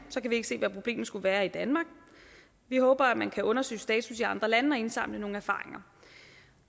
kan vi ikke se hvad problemet skulle være i danmark vi håber at man kan undersøge status i andre lande og indsamle nogle erfaringer